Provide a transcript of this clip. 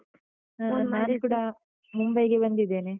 ನಾನು ಕೂಡ ಮುಂಬೈಗೆ ಬಂದಿದ್ದೇನೆ.